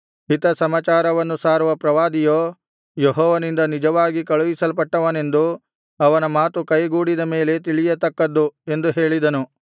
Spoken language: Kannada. ಹಿತ ಸಮಾಚಾರವನ್ನು ಸಾರುವ ಪ್ರವಾದಿಯೋ ಯೆಹೋವನಿಂದ ನಿಜವಾಗಿ ಕಳುಹಿಸಲ್ಪಟ್ಟವನೆಂದು ಅವನ ಮಾತು ಕೈಗೂಡಿದ ಮೇಲೇ ತಿಳಿಯತಕ್ಕದ್ದು ಎಂದು ಹೇಳಿದನು